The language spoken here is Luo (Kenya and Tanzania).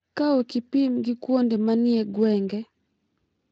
Ka opim gi kuonde ma ni e gwenge,